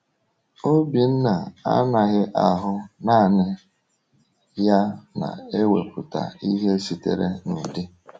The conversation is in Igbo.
Obinna anaghị ahụ naanị ya na-ewepụta ihe sitere n’ụdị.